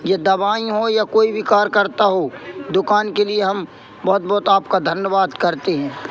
ये दवाई हो या कोई भी कार्य करता हो दुकान के लिए हम बहोत बहोत आपका धन्यवाद करते हैं।